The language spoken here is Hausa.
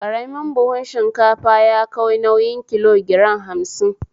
Karamin buhu shinkafa yakai nauyin kilo giram hamsin